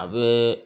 A bɛ